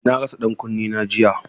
Na rasa ɗankunnena jiya.